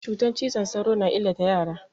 Cutan cizon sauro na illata yara.